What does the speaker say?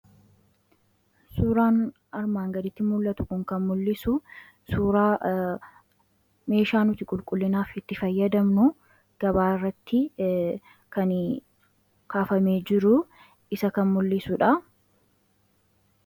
suuraan armaan gaditti mul'atu kun kan mul'isu suuraa meeshaa nuti qulqullinaafitti fayyadamnu gabaairratti kan kaafame jiruu isa kan mul'isuudha